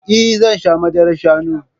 Eh zan sha madarar shanu